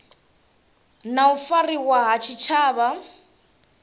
na u fariwa ha tshitshavha